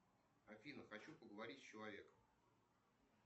афина хочу поговорить с человеком